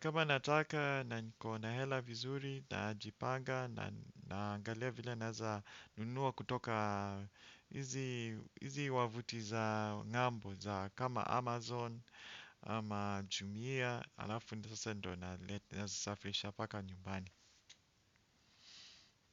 kama nataka na niko na hela vizuri najipanga. Naangalia vile naeza nunua kutoka izi wavuti za ngambo za kama Amazon ama jumia alafu ndo sasa ndo naleta nazisafilisha mpaka njumbani.